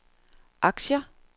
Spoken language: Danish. aktier